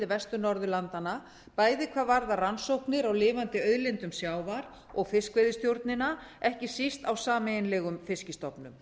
vestur norðurlanda bæði hvað varðar rannsóknir á lifandi auðlindum sjávar og fiskveiðistjórnina ekki síst á sameiginlegum fiskstofnum